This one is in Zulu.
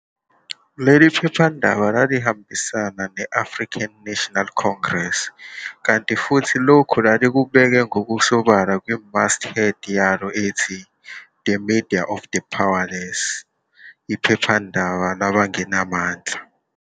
Leli phephandaba lalihambisana ne-African National Congress, kanti futhi lokhu lalikubekwa ngokusobala kwi-masthead yalo ethi- "The media of the powerless", iphephandaba labangenamandla.